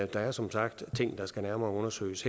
der er som sagt ting der skal undersøges